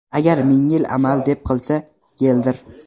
Agar ming yil amal deb qilsa, yeldir!.